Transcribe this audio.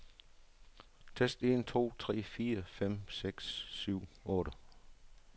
Tester en to tre fire fem seks syv otte.